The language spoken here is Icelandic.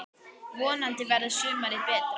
Vonandi verður sumarið betra!